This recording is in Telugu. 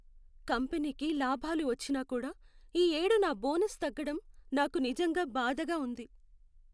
కంపెనీకి లాభాలు వచ్చినా కూడా, ఈ ఏడు నా బోనస్ తగ్గడం నాకు నిజంగా బాధగా ఉంది.